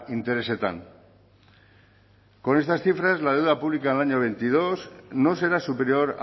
interesetan con estas cifras la deuda pública en el año veintidós no será superior